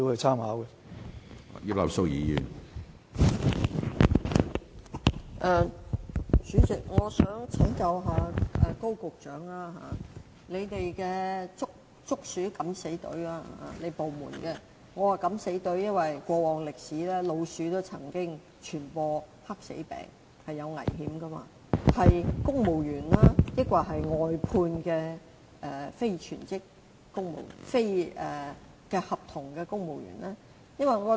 主席，我想請教高局長，他部門的"捉鼠敢死隊"——我之所以說"敢死隊"，是因為根據過往歷史，老鼠曾經傳播黑死病，具危險性——隊員是公務員，還是外判的非公務員僱員？